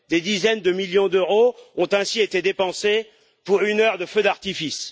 Des dizaines de millions d'euros ont ainsi été dépensés pour une heure de feux d'artifice.